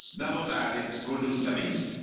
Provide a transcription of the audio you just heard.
da votare congiuntamente.